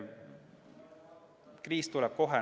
Kriis tuleb kohe.